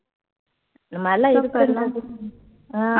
இந்த மாதிரியெல்லாம்